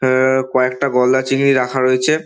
অ্যা-অ্যা কয়েকটা গলদা চিংড়ি রাখা রয়েছে।